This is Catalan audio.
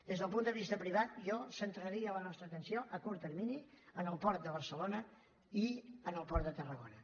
des del punt de vista privat jo centraria la nostra atenció a curt termini en el port de barcelona i en el port de tarragona